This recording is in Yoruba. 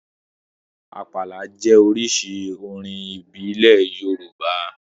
Àpàlà jẹ́ oríṣi orin ìbílẹ̀ Yorùbá